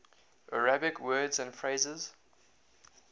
arabic words and phrases